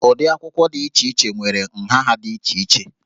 Ụdị akwụkwọ dị iche iche nwere nha ha dị iche iche